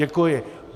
Děkuji.